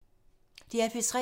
DR P3